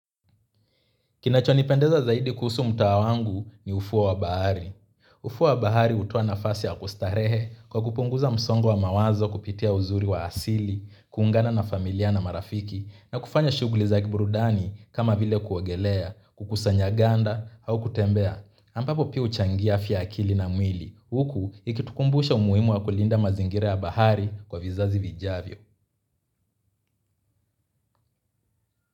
Kinachonipendeza zaidi kuhusu mtaa wangu ni ufuo wa bahari. Ufuo wa bahari hutoa nafasi ya kustarehe kwa kupunguza msongo wa mawazo kupitia uzuri wa asili, kuungana na familia na marafiki na kufanya shughuli za kiburudani kama vile kuogelea, kukusanya ganda au kutembea. Ampapo pia huchangia afya ya akili na mwili. Huku ikitukumbusha umuhimu wa kulinda mazingira ya bahari kwa vizazi vijavyo.